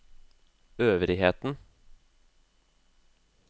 øvrigheten